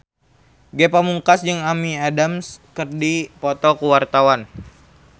Ge Pamungkas jeung Amy Adams keur dipoto ku wartawan